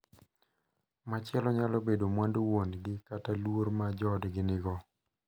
Machielo nyalo bedo mwandu wuon gi kata luor ma joodgi nigo.